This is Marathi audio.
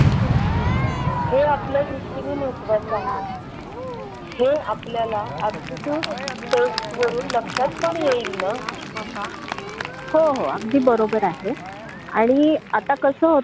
हो ना. असं काहीतरी व्यावसायिक दृष्टिकोन असणारा आणि नुसते पुस्तकी ज्ञान न देता व्यवहारिक शिक्षण